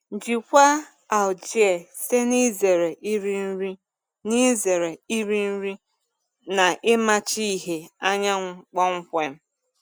Jikwaa algae site n'izere iri nri n'izere iri nri na ịmachi ìhè anyanwụ kpọmkwem.